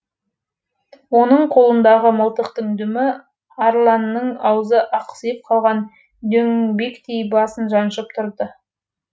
оның қолындағы мылтықтың дүмі арланның аузы ақсиып қалған дөңбектей басын жаншып тұрды